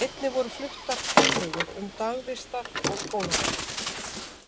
Einnig voru fluttar tillögur um dagvistar- og skólamál.